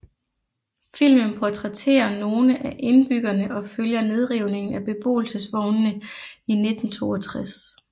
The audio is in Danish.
Filmen portrætterer nogle af indbyggerne og følger nedrivningen af beboelsesvognene i 1962